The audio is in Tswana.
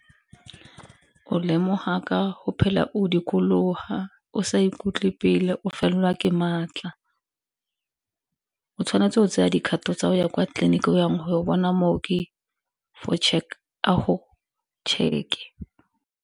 O lemoga ka go phela o dikologa o sa ikutlwe pila o felelwa ke maatla, o tshwanetse o tseya dikgato tsa o ya kwa tleliniking o yang go bona mooki a go check-e.